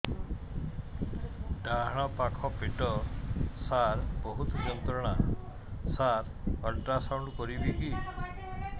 ଡାହାଣ ପାଖ ପେଟ ସାର ବହୁତ ଯନ୍ତ୍ରଣା ସାର ଅଲଟ୍ରାସାଉଣ୍ଡ କରିବି କି